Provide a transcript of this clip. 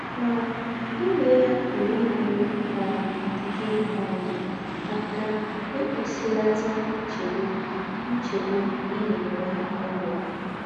Mà, ímè yà pùrù ínyèrè um gị̀ um ákà íkpùsìlàtà ńchègbù ńchègbù í ná-ènwè n’ùlọ̀.